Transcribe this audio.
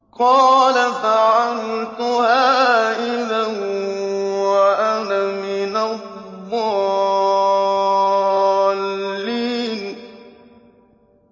قَالَ فَعَلْتُهَا إِذًا وَأَنَا مِنَ الضَّالِّينَ